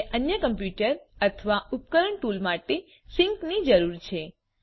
તમને અન્ય કમ્પ્યુટર અથવા ઉપકરણ ટૂલ માટે સિંકની જરૂર છે